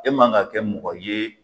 E man ga kɛ mɔgɔ ye